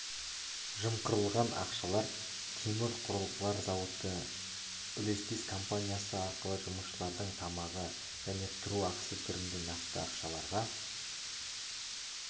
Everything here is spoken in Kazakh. жымқырылған ақшалар темір құрылғылар зауыты үлестес компаниясы арқылы жұмысшылардың тамағы және тұру ақысы түрінде нақты ақшаларға